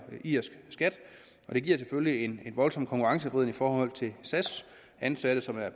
irsk skat og det giver selvfølgelig en voldsom konkurrenceforvridning i forhold til sas ansatte som er